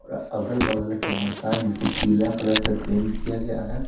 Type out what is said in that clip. और अगल-बगल के मकान जिसको पीला कलर से पेंट किया गया है।